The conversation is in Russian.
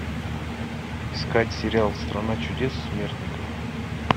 искать сериал страна чудес смертников